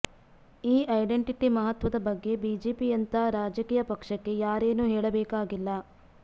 ಈ ಐಡೆಂಟಿಟಿ ಮಹತ್ವದ ಬಗ್ಗೆ ಬಿಜೆಪಿಯಂಥ ರಾಜಕೀಯ ಪಕ್ಷಕ್ಕೆ ಯಾರೇನೂ ಹೇಳಬೇಕಾಗಿಲ್ಲ